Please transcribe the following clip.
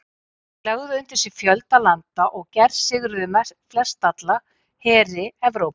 Þeir lögðu undir sig fjölda landa og gersigruðu flestalla heri Evrópu.